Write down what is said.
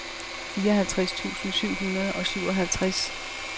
fireoghalvtreds tusind syv hundrede og syvoghalvtreds